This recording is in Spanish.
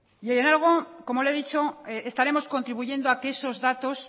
y en algo como le he dicho estaremos contribuyendo a que esos datos